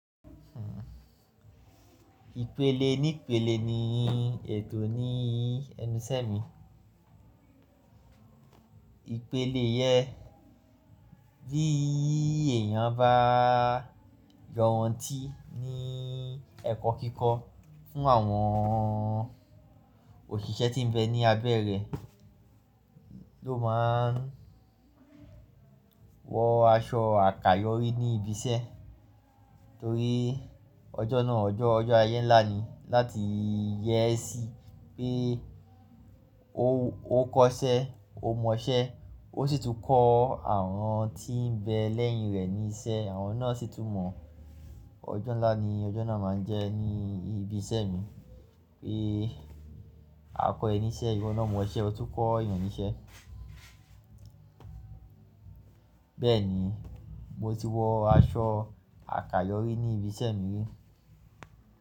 Hmm. Ìpele nípele ní ètò ní ẹnuṣẹ́ mi. Ìpele yẹn bí èèyàn bá yọntí ní ẹ̀kọ́ kíkọ́ fún àwọn òṣìṣẹ́ tí ń bẹ ní abẹ́ rẹ̀ ló máa wọ aṣọ àkayòrí ní ibi iṣẹ́. Torí ọjọ́ náà ọjọ́, ọjọ́ ayé ńlá ni láti yé sí pé ó kọ́ṣẹ́, ó mọṣẹ́, ó sì tún kọ́ àwọn tí ń bẹ lẹ́yìn rẹ̀ níṣẹ́, àwọn náà sì tún mọ̀. Ọjọ́ ńlá ni ọjọ́ náà máa ń jẹ́ ní ibi iṣẹ́ mi pé akọiniṣẹ́, ìwọ náà mọṣẹ́, o tún kọ́ ìyànníṣẹ́. Bẹ́ẹ̀ ni mo ti wọ aṣọ àkayòrí ní ibi iṣẹ́ mi.